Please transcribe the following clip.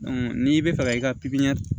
n'i bɛ fɛ ka i ka